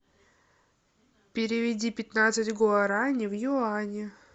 переведи пятнадцать гуарани в юани